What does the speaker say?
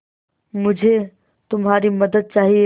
मुझे तुम्हारी मदद चाहिये